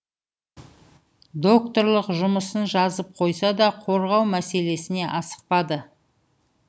докторлық жұмысын жазып қойса да қорғау мәселесіне асықпады